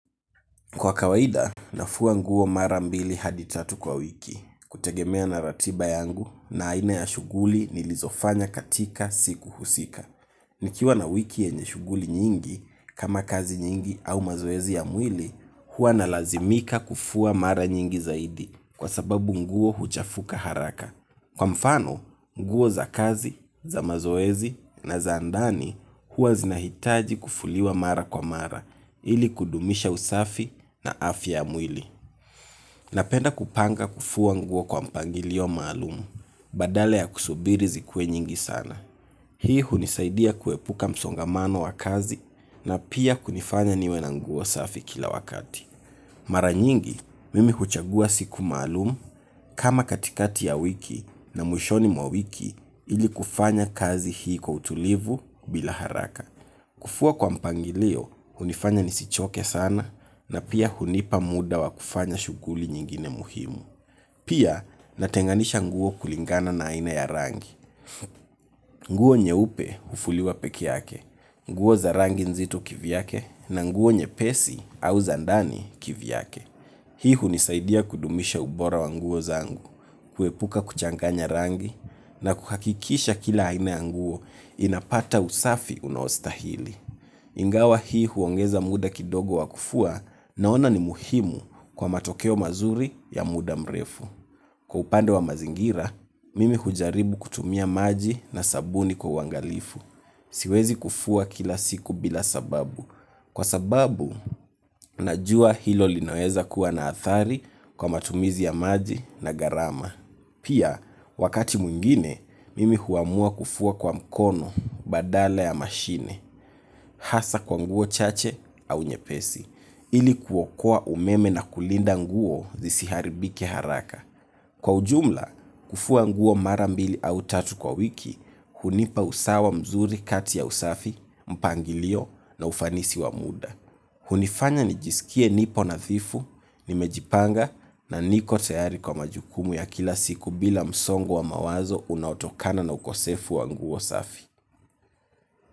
Kwa kawaida, nafua nguo mara mbili hadi tatu kwa wiki, kutegemea na ratiba yangu na aina ya shuguli nilizofanya katika siku husika. Nikiwa na wiki yenye shuguli nyingi, kama kazi nyingi au mazoezi ya mwili, huwa nalazimika kufua mara nyingi zaidi, kwa sababu nguo huchafuka haraka. Kwa mfano, nguo za kazi, za mazoezi na za ndani huwa zinahitaji kufuliwa mara kwa mara ili kudumisha usafi na afya ya mwili. Napenda kupanga kufua nguo kwa mpangilio maalum, badale ya kusubiri zikuwe nyingi sana. Hii hunisaidia kuepuka msongamano wa kazi na pia kunifanya niwe na nguo safi kila wakati. Mara nyingi mimi huchagua siku maalum kama katikati ya wiki na mwishoni mwa wiki ili kufanya kazi hii kwa utulivu bila haraka. Kufua kwa mpangilio hunifanya nisichoke sana na pia hunipa muda wa kufanya shuguli nyingine muhimu. Pia natenganisha nguo kulingana na aina ya rangi. Nguo nyeupe hufuliwa peke yake, nguo za rangi nzito kivyake na nguo nyepesi au za ndani kivyake. Hii hunisaidia kudumisha ubora wa nguo zangu, kuepuka kuchanganya rangi na kuhakikisha kila aina ya nguo inapata usafi unaostahili. Ingawa hii huongeza muda kidogo wa kufua naona ni muhimu kwa matokeo mazuri ya muda mrefu. Kwa upande wa mazingira, mimi hujaribu kutumia maji na sabuni kwa uwangalifu. Siwezi kufua kila siku bila sababu. Kwa sababu, najua hilo linaweza kuwa na athari kwa matumizi ya maji na garama. Pia, wakati mwingine, mimi huamua kufua kwa mkono badala ya mashine, hasa kwa nguo chache au nyepesi, ili kuokoa umeme na kulinda nguo zisiharibike haraka. Kwa ujumla kufua nguo mara mbili au tatu kwa wiki hunipa usawa mzuri kati ya usafi mpangilio na ufanisi wa muda hunifanya nijisikie nipo nafifu nimejipanga na niko tayari kwa majukumu ya kila siku bila msongo wa mawazo unaotokana na ukosefu wa nguo safi.